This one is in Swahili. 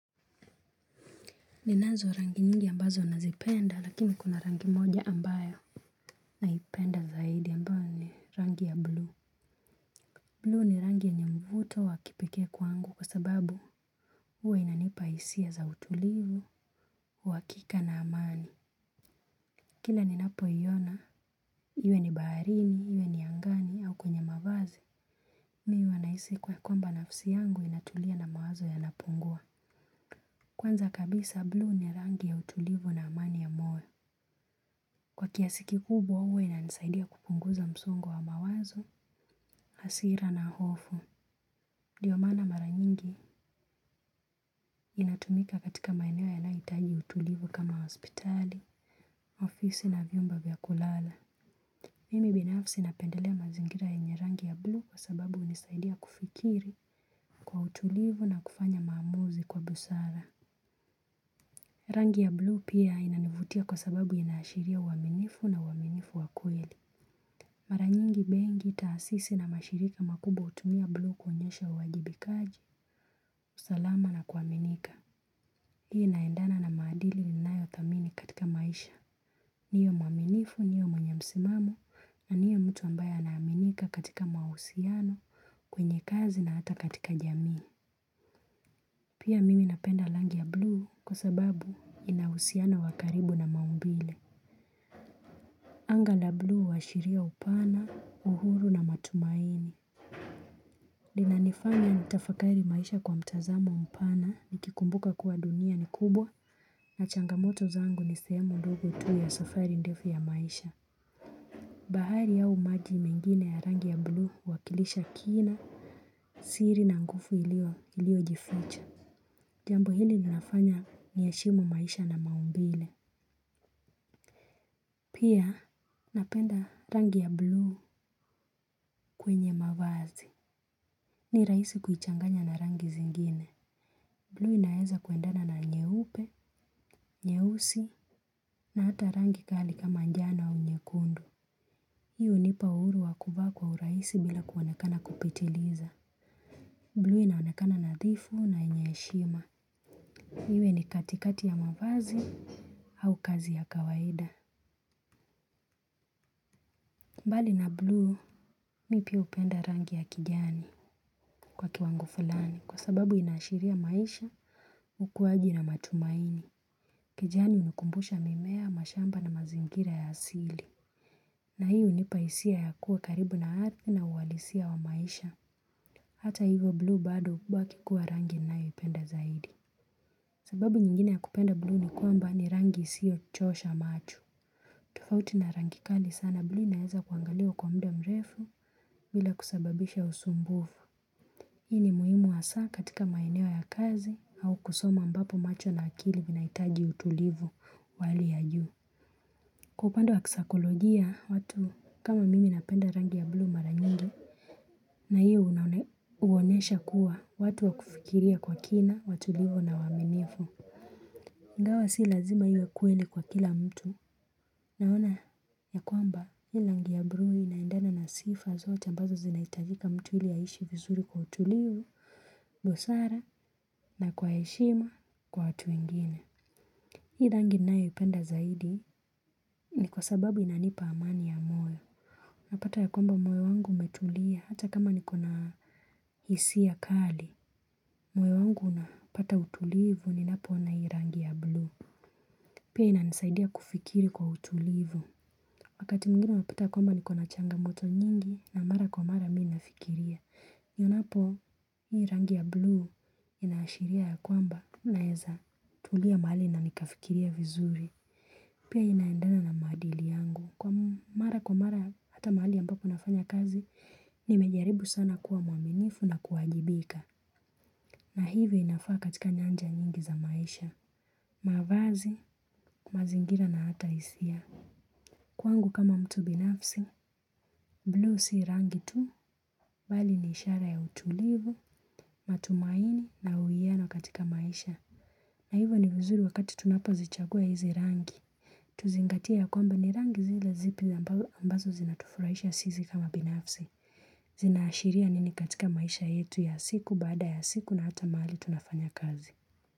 Ninazo rangi nyingi ambazo nazipenda lakini kuna rangi moja ambayo. Naipenda zaidi ambayo ni rangi ya bluu. Bluu ni rangi yenye mvuto wa kipekee kwangu kwa sababu huwe inanipa hisia za utulivu, uwakika na amani. Kila ni napo iona, iwe ni baharini, iwe ni angani au kwenye mavazi. Mimi huwa nahisi kuwa kwamba nafsi yangu inatulia na mawazo yanapungua. Kwanza kabisa bluu ni rangi ya utulivu na amani ya moyo. Kwa kiasi kikubwa huwa wa inanisaidia kupunguza msongo wa mawazo, hasira na hofu, ndiyo maana mara nyingi inatumika katika maeneo yanayohitaji utulivu kama hospitali, ofisi na vyumba vya kulala. Mimi binafsi napendelea mazingira yenye rangi ya bluu kwa sababu hunisaidia kufikiri kwa utulivu na kufanya maamuzi kwa busara. Rangi ya bluu pia inanivutia kwa sababu inashiria uwaminifu na uwaminifu wa kweli. Mara nyingi benki na taasisi na mashirika makubwa hutumia bluu kuonyesha uwajibikaji, usalama na kuaminika. Hii inaendana na maadili ninayo thamini katika maisha. Niwe mwaminifu, niwe mwenye msimamo, na niwe mtu ambaye anaaminika katika mahusiano kwenye kazi na hata katika jamii. Pia mimi napenda rangi ya bluu kwa sababu inauhusiano wakaribu na maumbile. Anga la bluu huashiria upana, uhuru na matumaini. Inanifanya nitafakari maisha kwa mtazamo mpana nikikumbuka kuwa dunia ni kubwa. Na changamoto zangu nisehemu ndogo tu ya safari ndefu ya maisha. Bahari auvmaji mengine ya rangi ya bluu huwakilisha kina. Siri na nguvu iliyo jificha. Jambo hili linafanya niheshimu maisha na maumbile. Pia napenda rangi ya bluu kwenye mavazi. Ni rahisi kuichanganya na rangi zingine. Bluu inaeza kuendana na nyeupe, nyeusi, na ata rangi kali kama njano wa nyekundu. Hii hunipa uhuru wakuvaa kwa urahisi bila kuonekana kupitiliza. Bluu inaonekana nadhifu na yenye heshima. Iwe ni katikati ya mavazi au kazi ya kawaida. Mbali na Blue, mimi pia hupenda rangi ya kijani kwa kiwango fulani. Kwa sababu inashiria maisha, ukuaji na matumaini. Kijani hunikumbusha mimea, mashamba na mazingira ya asili. Na hii hunipa hisia ya kuwa karibu na ardhi na uhalisia wa maisha. Hata hivyo blue bado hubaki kuwa rangi ninayoipenda zaidi. Sababu nyingine ya kupenda bluu ni kwamba ni rangi isiyo chosha macho. Tufauti na rangi kali sana bluu inaeza kuangaliwa kwa muda mrefu bila kusababisha usumbufu. Hii ni muhimu hasaa katika maeneo ya kazi au kusoma ambapo macho na akili vinahitaji utulivu wa hali ya juu. Kwa upande wa kisaikolojia watu kama mimi napenda rangi ya bluu mara nyingi. Na hiyo huonesha kuwa watu wa kufikiria kwa kina, watulivu na waaminifu ingawa si lazima iwe kweli kwa kila mtu. Naona ya kwamba hii rangi ya bluu inaendana na sifa zote ambazo zinahitajika mtu ili aishi vizuri kwa utulivu busara na kwa heshima kwa watu wengine. Hii rangi ninayoipenda zaidi ni kwa sababu inanipa amani ya moyo. Napata ya kwamba moyo wangu umetulia hata kama niko na hisia kali. Moyo wangu unapata utulivu ninapo ona hii rangi ya bluu. Pia inanisaidia kufikiri kwa utulivu. Wakati mwingine unapata ya kwamba niko na changamoto nyingi na mara kwa mara mi nafikiria. Nionapo hii rangi ya bluu inaashiria ya kwamba naeza tulia mahali na nikafikiria vizuri. Pia inaendana na maadili yangu. Kwa mara kwa mara hata mahali ambapo nafanya kazi, nimejaribu sana kuwa mwaminifu na kuwajibika. Na hivyo inafaa katika nyanja nyingi za maisha. Mavazi, mazingira na hata hisia. Kwangu kama mtu binafsi, bluu si rangi tu, bali ni ishara ya utulivu, matumaini na huyiano katika maisha. Na hivyo ni vizuri wakati tunapo zichagua hizi rangi. Tuzingatie ya kwamba ni rangi zile zipi ambazo zinatufurahisha sisi kama binafsi. Zinaashiria nini katika maisha yetu ya siku baada ya siku na hata mahali tunafanya kazi.